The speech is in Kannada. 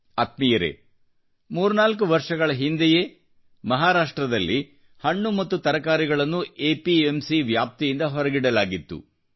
ಆತ್ಮೀಯರೇ 34 ವರ್ಷಗಳ ಹಿಂದೆಯೇ ಮಹಾರಾಷ್ಟ್ರದಲ್ಲಿ ಹಣ್ಣು ಹಾಗೂ ತರಕಾರಿಗಳನ್ನು ಎಪಿಎಂಸಿ ವ್ಯಾಪ್ತಿಯಿಂದ ಹೊರಗಿಡಲಾಗಿತ್ತು